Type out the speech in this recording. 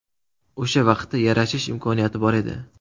O‘sha vaqtda yarashish imkoniyati bor edi.